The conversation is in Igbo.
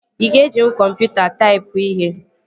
Ị ga-ejinwu kọmputa taipụọ ihe